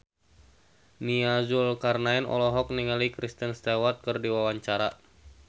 Nia Zulkarnaen olohok ningali Kristen Stewart keur diwawancara